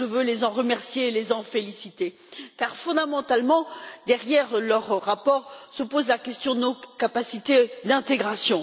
Je veux donc les en remercier et les en féliciter car, fondamentalement, derrière leur rapport se pose la question de nos capacités d'intégration.